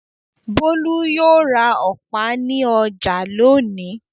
Bólú yóò ra ọ̀pá ní ọjà lónìí.